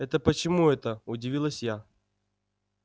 это почему это удивилась я